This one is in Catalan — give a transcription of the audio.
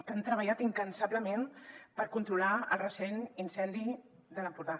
que han treballat incansablement per controlar el recent incendi de l’empordà